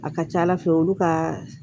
A ka ca ala fɛ olu ka